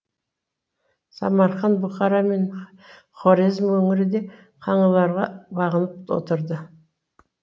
самарқан бұхара мен хорезм өңірі де қаңлыларға бағынып отырды